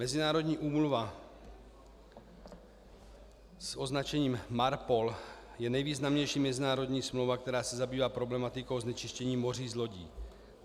Mezinárodní úmluva s označením MARPOL je nejvýznamnější mezinárodní smlouva, která se zabývá problematikou znečištění moří z lodí.